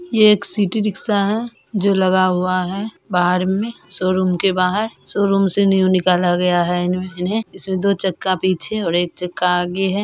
ये एक city rickshaw है जो लगा हुआ है बाहर में शोरूम के बाहर शोरूम से न्यू निकला गया है इनमें इन्हे इसमें दो चक्का पीछे और एक चक्का आगे है।